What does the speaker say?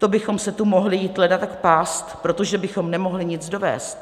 To bychom se tu mohli jít leda tak pást, protože bychom nemohli nic dovézt.